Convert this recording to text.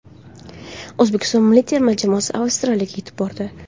O‘zbekiston milliy terma jamoasi Avstraliyaga yetib bordi.